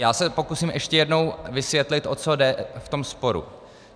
Já se pokusím ještě jednou vysvětlit, o co jde v tom sporu.